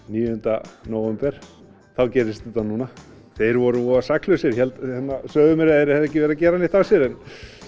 níunda nóvember og þá gerist þetta núna þeir voru voða saklausir sögðu mér að þeir hefðu ekki verið að gera neitt af sér en